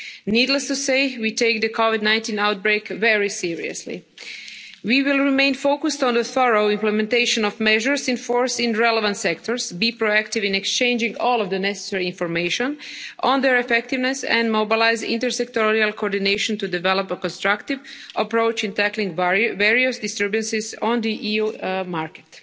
Needless to say, we take the Covid 19 outbreak very seriously. We will remain focused on a thorough implementation of measures in force in relevant sectors, be proactive in exchanging all of the necessary information on their effectiveness, and mobilise inter sectoral coordination to develop a constructive approach in tackling various disturbances on the EU market.